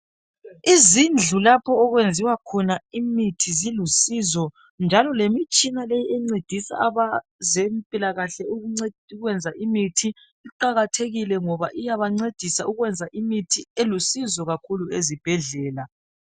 Izindlu lapho okwenziwa khona imithi zilusizo njalo lemitshina leyi encedisa abeze mpilakahle ukwenza imithi iqakathekile ngoba iyabancedisa ukuwenza imithi elusizo kakhulu ezibhedlela.